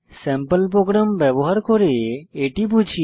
sample program ব্যবহার করে এটি বুঝি